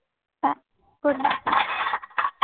हां. Good night.